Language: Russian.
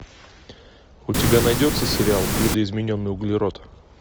у тебя найдется сериал видоизмененный углерод